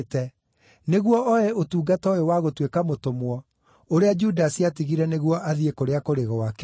nĩguo oe ũtungata ũyũ wa gũtuĩka mũtũmwo, ũrĩa Judasi aatigire nĩguo athiĩ kũrĩa kũrĩ gwake.”